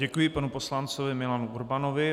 Děkuji panu poslanci Milanu Urbanovi.